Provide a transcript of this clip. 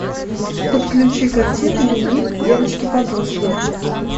подключи картину дневник девочки подростка